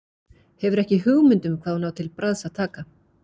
Hefur ekki hugmynd um hvað hún á til bragðs að taka.